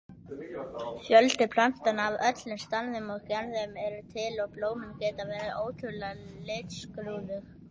Fjöldi plantna af öllum stærðum og gerðum eru til og blómin geta verið ótrúlega litskrúðug.